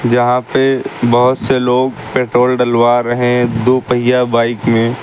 यहां पे बहुत से लोग पेट्रोल डलवा रहे दो पहिया बाइक में।